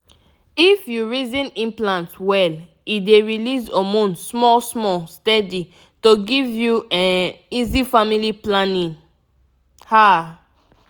if you reason implant well e dey release hormone small-small steady to give you um easy family planning. pause small ah!